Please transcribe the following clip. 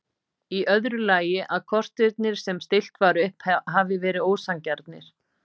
Í öðru lagi að kostirnir sem stillt var upp hafi verið ósanngjarnir.